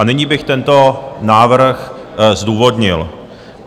A nyní bych tento návrh zdůvodnil.